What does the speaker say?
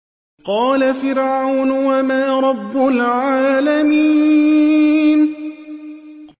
قَالَ فِرْعَوْنُ وَمَا رَبُّ الْعَالَمِينَ